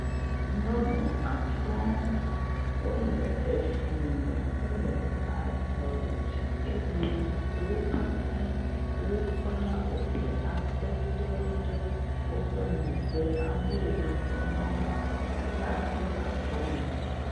Nyɔnu atɔ̃ wole fli me hele azɔ̃li dzi eye wo katã wokpla woƒe akpɛte ɖe woƒe megbe, ame yi ne le ŋgɔ na wo le kpla asi akɔnu.